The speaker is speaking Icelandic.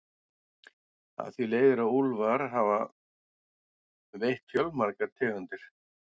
Af því leiðir að úlfar hafa veitt fjölmargar tegundir.